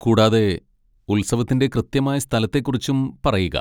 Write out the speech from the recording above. കൂടാതെ, ഉത്സവത്തിന്റെ കൃത്യമായ സ്ഥലത്തെക്കുറിച്ചും പറയുക.